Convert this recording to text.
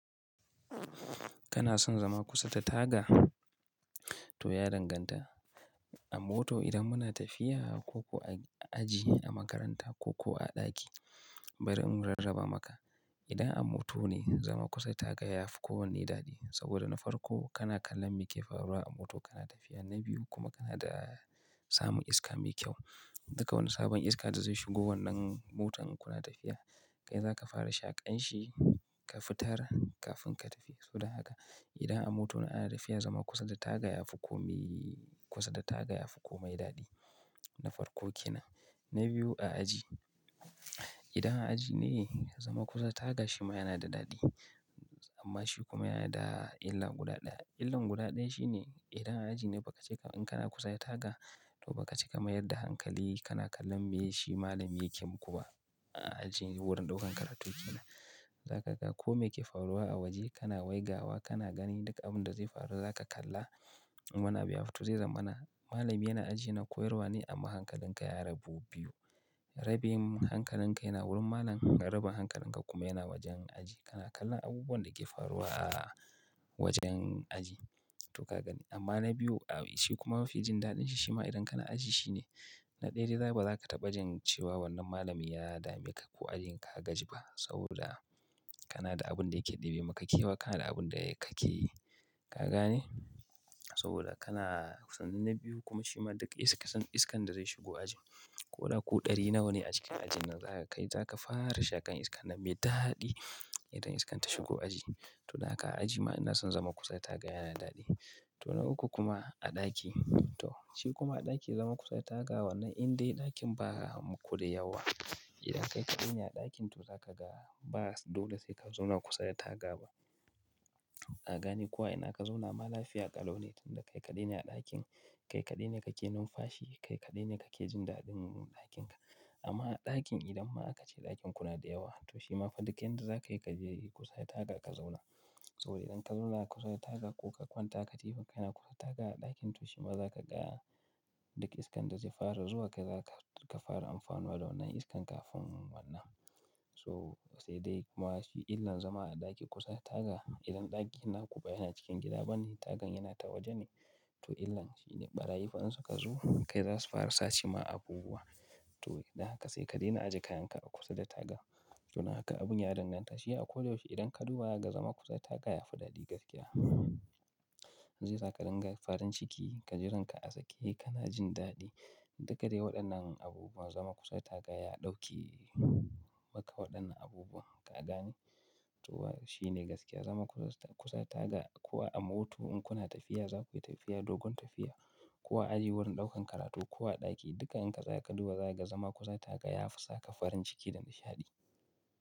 Kana son zama kusa da taga? To ya danganta. A mota idan muna tafiya ko a aji a makaranta ko kuwa a ɗaki, bari in rarraba maka. Idan a mota ne, zama kusa da taga yafi kowane daɗi saboda na farko kana kallon me ke faruwa a motar kana tafiya. Na biyu kuma kana da samun iska mai kyau. Duka wani sabon iska da zai shigo wannan motar kuna tafiya, kai zaka fara shaƙan shi kafin ka fitar kafin ka tafi. So dan haka, idan a mota ne ana tafiya zama kusa da taga yafi komi kusan da taga yafi komai daɗi na farko ke nan. Na biyu a aji. Idan a aji ne, zama kusa da taga shi ma yana da daɗi amma shi kuma yana da illar gudaɗaya. Illar gudaɗaya shi ne idan a aji ne bakace in kana kusa da taga to bakace ka mayar da hankali kana kallon me shi malami yake yi kuma a aji wurin ɗaukan karatun kenan. Zaka ga kome yake faruwa a waje kana waigawa kana ganin duk abin da zai faru zaka kalla. Wani abu ya fito zai zama mana malami yana aji yana koyarwa ne amma hankalin ka ya rabu biyu. Rabin hankalin ka yana wurin malam, rabin hankalin ka kuma yana wajen aji. Kana kallon abubuwan da ke faruwa a wajen aji to ka gani. Amma na biyu awu shi kuma mafi jin daɗin shi shima idan kana aji shine na ɗaya dai zai ba za ka taɓa jin cewa wannan malami ya dame ka ko ajin ka gaji ba saboda kana da abin da yake ɗebe maka kyau kana da abin da ka ke ka gani saboda kana sannan na biyu kuma shi ma duk is kusan iskan iskan da zai shigo ajin ko ɗa ku ɗari nawa ne a cikin ajin nan zaka ga kai zaka fara shakan iska nan me daɗi idan iskan ta shigo aji. To dan haka a aji ma ina son zama kusa da taga yana daɗi. To na uku kuma a ɗaki. To shi kuma a ɗaki zama kusa da taga wannan indai ɗakin ba ma kuda yawa. Idan kai kaɗai ne a ɗakin to za ka ga ba dole sai ka zauna kusa da taga ba. Ka gane ko a ina ka zauna ma lafiya kalau ne tunda kai kaɗai ne a ɗakin, kai kaɗai ne kake numfashi, kai kaɗai ne kake jin daɗin ɗakin ka. Amma a ɗakin idan ma aka ce ɗakin kuna da yawa to shi ma fa duk yanda za ka yi ka je kusa da taga ka zauna. Saboda idan ka zauna kusa da taga ko ka kwanta ka tafi kai na kusa da taga a ɗakin to shi ma za ka ga duk iskan da zai fara zuwa kai za ka fara amfanuwa da wannan iskan kafin wannan. So sai dai kuma shi illan zama a ɗaki kusa da taga idan ɗakin naku ba yana cikin gida bane tagan yana ta waje ne to illan shi ne ɓarayi fa in su ka zo kai za su fara sace ma abubuwa. To dan haka sai ka daina ajiye kayan ka a kusa da taga. Domin haka abun ya danganta shi a ko da yaushe idan ka duba ga zama kusa da taga yafi daɗi gaskiya. Zai sa kadinga farin ciki ka jiran ka a sake kana jin daɗi. Duka dai waɗannan abubuwa zama kusa da taga ya ɗauke maka waɗannan abubuwa ka gane. To wa shi ne gaskiya zama kusa kusa da taga ko a moto in kuna tafiya za ku yi tafiya dogon tafiya ko a aji wurin ɗaukan karatu ko a ɗaki duka in ka za ka duba za ka ga zama kusa da taga yafi saka farin ciki da nishaɗi.